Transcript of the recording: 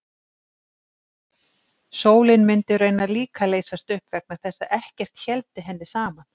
Sólin mundi raunar líka leysast upp vegna þess að ekkert héldi henni saman.